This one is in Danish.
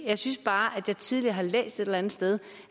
jeg synes bare at jeg tidligere har læst et eller andet sted